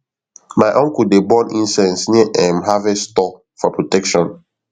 my uncle dey burn incense near um harvest store for protection